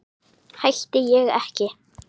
Hætti ég ekki?